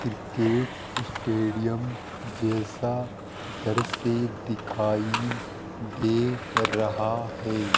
Cricket stadium जैसा दृश्य दिखाई दे रहा है।